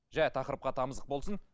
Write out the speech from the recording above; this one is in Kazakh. жай тақырыпқа тамызық болсын